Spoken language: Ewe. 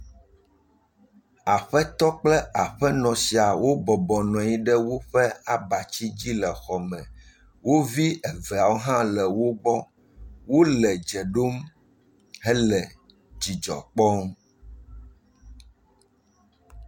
Aƒetɔ kple aƒenɔ siawo bɔbɔ nɔ anyi ɖe woƒe abati dzi le xɔme, wo vi ebeawo hã le wogbɔ, wole dze ɖom hele dzidzɔ kpɔm.